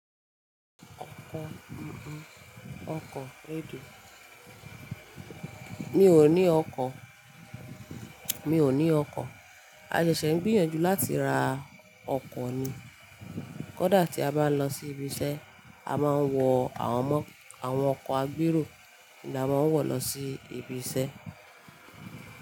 Ọkọ̀, ọkọ̀ Edo. Mi ò ní ọkọ̀, mi ò ní ọkọ̀. A ṣẹ̀ṣẹ̀ ń gbìyànjú láti ra ọkọ̀ ni. Kódà tí a bá lọ sí ibi iṣẹ́, a máa ń wọ àwọn ọmọ, àwọn ọkọ̀ agbérò ni a máa ń wọ̀ lọ sí ibi iṣẹ́